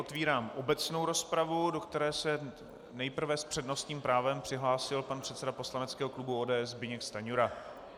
Otevírám obecnou rozpravu, do které se nejprve s přednostním právem přihlásil pan předseda poslaneckého klubu ODS Zbyněk Stanjura.